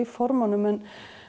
formunum en